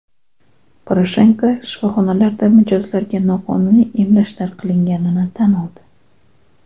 Poroshenko shifoxonalarda mijozlarga noqonuniy emlashlar qilganini tan oldi.